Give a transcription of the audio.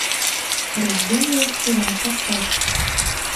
рожденная вчера поставь